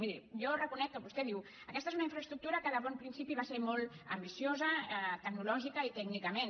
miri jo reconec que vostè diu aquesta és una infraestructura de bon principi va ser molt ambiciosa tecnològicament i tècnicament